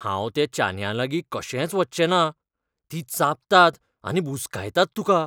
हांव त्या चानयांलागीं कशेंच वच्चेंना. तीं चाबतात आनी बुसकायतात तुका.